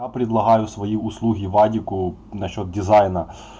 а предлагаю свои услуги вадику насчёт дизайна